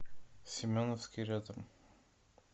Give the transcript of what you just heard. семеновский рядом